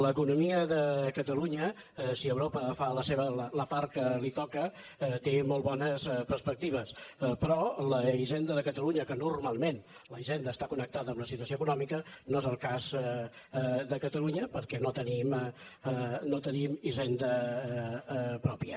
l’economia de catalunya si europa fa la part que li toca té molt bones perspectives però la hisenda de catalunya que normalment la hisenda està connectada amb la situació econòmica no és el cas de catalunya perquè no tenim hisenda pròpia